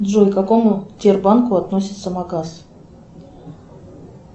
джой к какому тербанку относится магаз